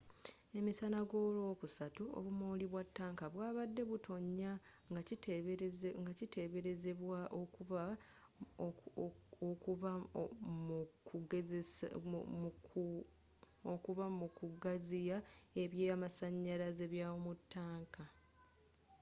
emisana golwokusatu obumooli bwa ttanka bwabadde butonya ngakiteberezebwa okuba mu kugaziya ebyamasanyalaze mu ttaanka